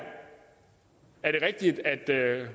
rigtigt